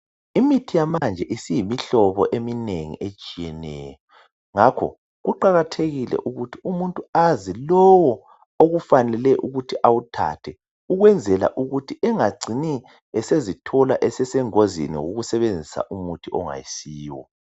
Imithi yamanje isiyimihlobo eminengi etshiyeneyo ngakho kuqakathekile ukuthi umuntu aze lowo okufanele ukuthi awuthathe ukwenzela ukuthi engacini esezithola esesengozini owusebenzisa umuntu ongasiwo